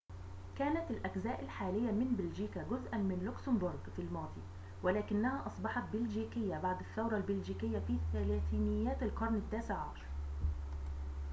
كانت الأجزاء الحالية من بلجيكا جزءاً من لوكسمبورغ في الماضي ولكنها أصبحت بلجيكية بعد الثورة البلجيكية في ثلاثينيات القرن التاسع عشر